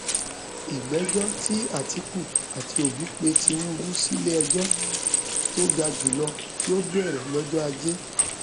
ìgbẹjọ tí àtìkù àti òbí pe tinubu sílẹẹjọ tó ga jù lọ yóò bẹrẹ lọjọ ajé